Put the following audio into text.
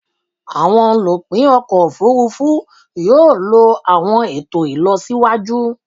Awọn olupin ọkọ ofurufu yoo lo awọn eto ilọsiwaju